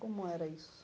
Como era isso?